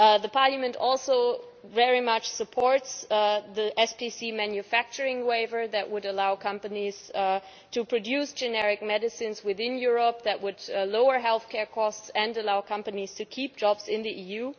Parliament also very much supports the SPC manufacturing waiver that would allow companies to produce generic medicines within Europe, which would lower healthcare costs and allow companies to keep jobs in the EU.